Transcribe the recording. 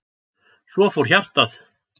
Svo fór hjartað.